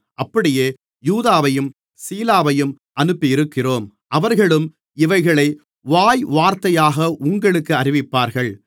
அப்படியே யூதாவையும் சீலாவையும் அனுப்பியிருக்கிறோம் அவர்களும் இவைகளை வாய்வார்த்தையாக உங்களுக்கு அறிவிப்பார்கள்